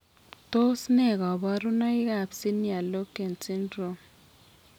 Tos ne kaborunoikab senior loken syndrome?